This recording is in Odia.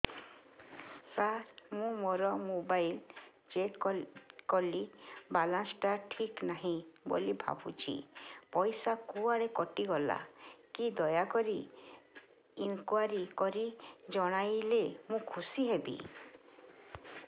ସାର ମୁଁ ମୋର ମୋବାଇଲ ଚେକ କଲି ବାଲାନ୍ସ ଟା ଠିକ ନାହିଁ ବୋଲି ଭାବୁଛି ପଇସା କୁଆଡେ କଟି ଗଲା କି ଦୟାକରି ଇନକ୍ୱାରି କରି ଜଣାଇଲେ ମୁଁ ଖୁସି ହେବି